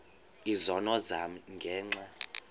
izono zam ngenxa